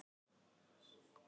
Ég var eins og í skrúfstykki.